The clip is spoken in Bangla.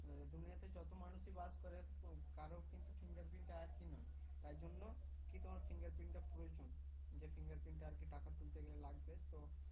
দুনিয়াতে যত মানুষই বাস করে কারও কিন্তু fingerprint টা একই নয় তাই জন্য তোমার fingerprint টা প্রয়োজন যে fingerprint টা আর কি টাকা তুলতে গেলে লাগবে ত